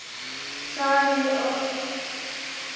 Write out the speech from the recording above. Það er eilíft rok.